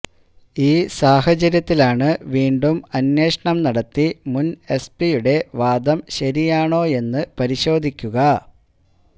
ഈ സാഹചര്യത്തിലാണ് വീണ്ടും അന്വേഷണം നടത്തി മുൻ എസ്പിയുടെ വാദം ശരിയാണോയെന്ന് പരിശോധിക്കുക